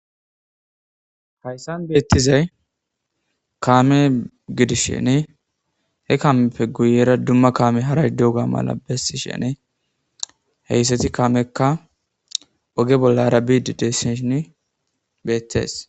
Hayssan beettizay kaame gidishene he kaameppe guyera dumma kaame haray duga mala bessishene heyssati kaamekka oge bolla arabidi dessishin beettees.